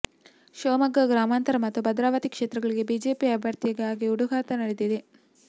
ಶಿವಮೊಗ್ಗ ಗ್ರಾಮಾಂತರ ಮತ್ತು ಭದ್ರಾವತಿ ಕ್ಷೇತ್ರಗಳಿಗೆ ಬಿಜೆಪಿ ಅಭ್ಯರ್ಥಿಗಾಗಿ ಹುಟುಕಾಟ ನಡೆಸಿದೆ